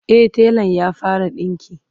e telan ya fara dinki